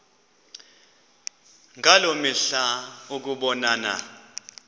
ngaloo mihla ukubonana